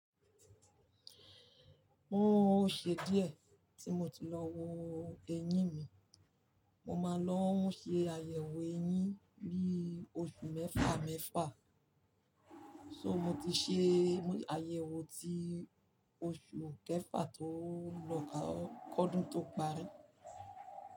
Oó ṣe díẹ̀ tí mo ti lọ wo eyín mi. Mo máa ń lọ ṣe àyẹ̀wò eyín mi bí oṣù mẹ́fà mẹ́fà, so mo ti ṣe àyẹ̀wò ti oṣù kẹfà tó lọ kọ́dún tó parí.